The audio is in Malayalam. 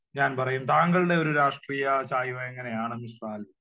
ഞാൻ പറയും. താങ്കളുടെ ഒരു രാഷ്ട്രീയ ചായ്‌വ് എങ്ങനെയാണ് മിസ്റ്റർ ആൽവിൻ?